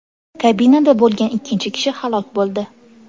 Kabinada bo‘lgan ikkinchi kishi halok bo‘ldi.